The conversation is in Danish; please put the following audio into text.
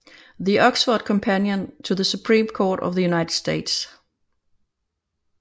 The Oxford Companion to the Supreme Court of the United States